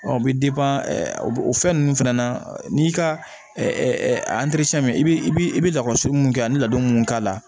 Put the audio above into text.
Ɔ o bɛ o fɛn ninnu fɛnɛ na n'i ka i bɛ i bɛ i bɛ lakɔso mun kɛ an bɛ ladon mun k'a la